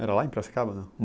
Era lá em Piracicaba, não?